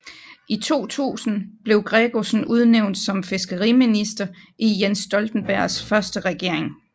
I 2000 blev Gregussen udnævnt som fiskeriminister i Jens Stoltenbergs første regering